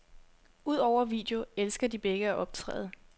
Udover video elsker de begge at optræde.